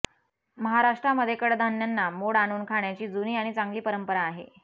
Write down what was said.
महाराष्ट्रामध्ये कडधान्यांना मोड आणून खाण्याची जुनी आणि चांगली परंपरा आहे